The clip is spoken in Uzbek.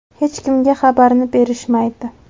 Hech kimga xabarini berishmaydi.